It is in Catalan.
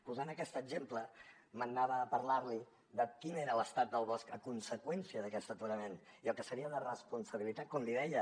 posant aquest exemple me n’anava a parlarli de quin era l’estat del bosc a conseqüència d’aquest aturament i el que seria de responsabilitat com li deia